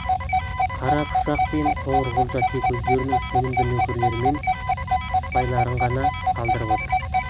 қарапұшақ пен қоңырқұлжа тек өздерінің сенімді нөкерлері мен сыпайларын ғана қалдырып отыр